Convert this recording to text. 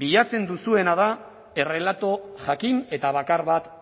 bilatzen duzuena da errelato jakin eta bakar bat